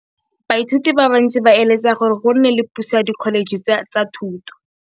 Baithuti ba bantsi ba eletsa gore go nne le pusô ya Dkholetšhe tsa Thuto.